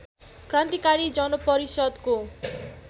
क्रान्तिकारी जनपरिषद्को